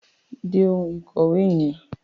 Dé oun ìkòwé yen